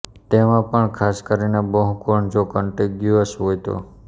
તેમાં પણ ખાસ કરીને બહુકોણ જો કન્ટીગ્યુઅસ હોય તો